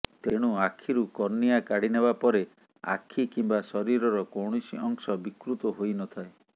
ତେଣୁ ଆଖିରୁ କର୍ନିଆ କାଢ଼ିନେବା ପରେ ଆଖି କିମ୍ବା ଶରୀରର କୌଣସି ଅଂଶ ବିକୃତ ହୋଇନଥାଏ